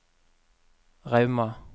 Rauma